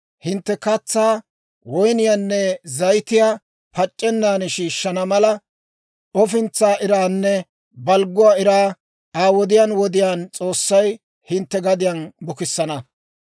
hintte katsaa, woyniyaanne zayitiyaa pac'c'ennan shiishshana mala, ofintsaa iraanne balgguwaa iraa, Aa wodiyaan wodiyaan S'oossay hintte gadiyaan bukissana.